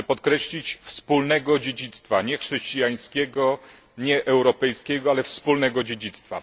Chcę podkreślić wspólnego dziedzictwa nie chrześcijańskiego, nie europejskiego, ale wspólnego dziedzictwa.